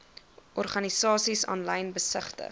organisasies aanlyn besigtig